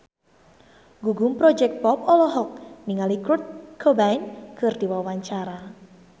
Gugum Project Pop olohok ningali Kurt Cobain keur diwawancara